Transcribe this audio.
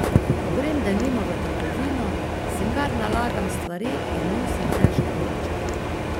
Ko grem denimo v trgovino, si kar nalagam stvari in nosim težke vrečke.